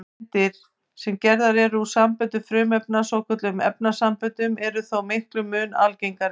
Steindir, sem gerðar eru úr samböndum frumefna, svokölluðum efnasamböndum, eru þó miklum mun algengari.